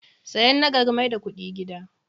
Sayan na gari mai da kudi gida.